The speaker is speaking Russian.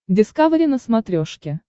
дискавери на смотрешке